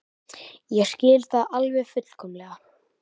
Ég skil það alveg fullkomlega.